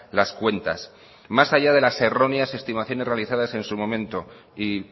las cuentas más allá de las erróneas estimaciones realizadas en su momento y